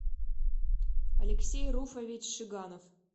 алексей руфович шиганов